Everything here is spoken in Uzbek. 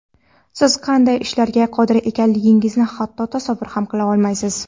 Siz qanday ishlarga qodir ekanligingizni hatto tasavvur ham qila olmaysiz.